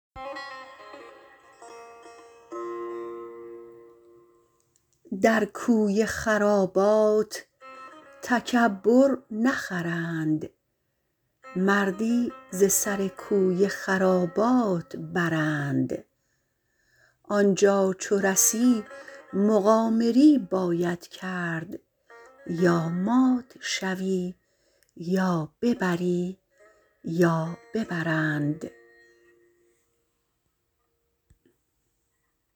در کوی خرابات تکبر نخرند مردی ز سر کوی خرابات برند آنجا چو رسی مقامری باید کرد یا مات شوی یا ببری یا ببرند